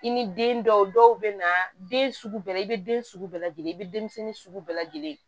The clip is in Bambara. I ni den dɔw dɔw bɛ na den sugu bɛɛ la i bɛ den sugu bɛɛ lajɛlen i bɛ denmisɛnnin sugu bɛɛ lajɛlen ye